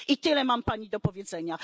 I tyle mam Pani do powiedzenia.